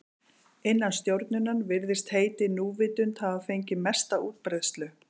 Innan stjórnunar virðist heitið núvitund hafa fengið mesta útbreiðslu.